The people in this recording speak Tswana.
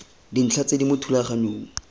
dintlha tse di mo thulaganyong